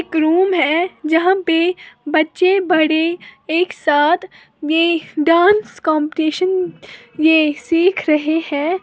एक रूम है जहां पे बच्चे बड़े एक साथ में डांस कंपटीशन ये सीख रहे हैं।